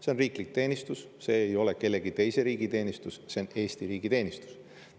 See on riiklik teenistus, see ei ole mingi teise riigi teenistus, see on Eesti riigi teenistus.